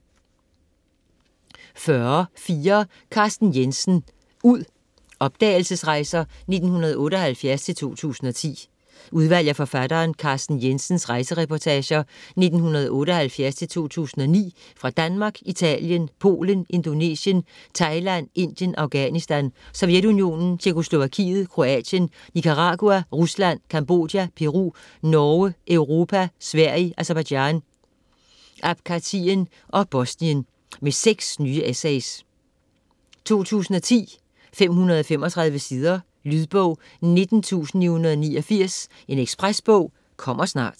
40.4 Jensen, Carsten: Ud: opdagelsesrejser 1978-2010 Udvalg af forfatteren Carsten Jensens rejsereportager 1978-2009 fra Danmark, Italien, Polen, Indonesien, Thailand, Indien, Afghanistan, Sovjetunionen, Tjekkoslovakiet, Kroatien, Nicaragua, Rusland, Cambodja, Peru, Norge, Europa, Sverige, Aserbajdsjan, Abkhazien og Bosnien. Med seks nye essays. 2010, 535 sider. Lydbog 19989 Ekspresbog - kommer snart